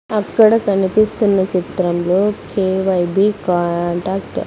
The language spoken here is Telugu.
అక్కడ కనిపిస్తున్న చిత్రంలో కే_వై_బి కాంటాక్ట్ .